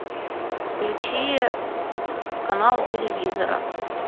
включи канал телевизора